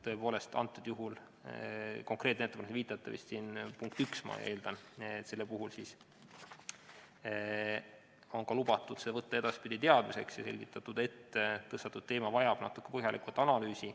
Tõepoolest, konkreetne ettepanek, millele te viitate, on siin vist punkt 1, ma eeldan, ja selle puhul on ka lubatud see võtta edaspidi teadmiseks ja selgitatud, et tõstatatud teema vajab natuke põhjalikumat analüüsi.